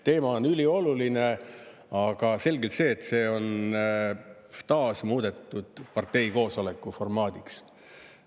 Teema on ülioluline, aga selge see, et see on taas muudetud parteikoosoleku formaadiks.